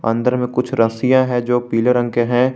अंदर में कुछ रस्सियां है जो पीले रंग के हैं।